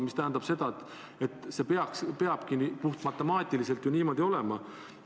See tähendab seda, et see peabki puhtmatemaatiliselt niimoodi olema.